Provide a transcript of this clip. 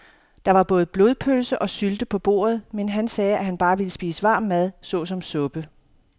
Der var både blodpølse og sylte på bordet, men han sagde, at han bare ville spise varm mad såsom suppe.